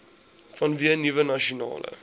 vanweë nuwe nasionale